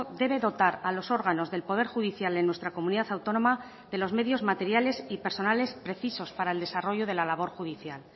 debe dotar a los órganos del poder judicial en nuestra comunidad autónoma de los medios materiales y personales precisos para el desarrollo de la labor judicial